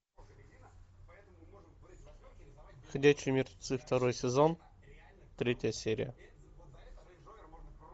ходячие мертвецы второй сезон третья серия